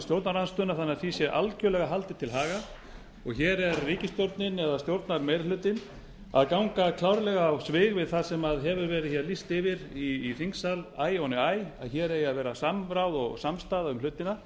stjórnarandstöðuna þannig að því sé algerlega haldið til haga og hér er ríkisstjórnin eða stjórnarmeirihlutinn að ganga klárlega á svig við það sem hefur verið lýst yfir í þingsal æ ofan í æ að hér eigi að vera samráð og samstaða um hlutina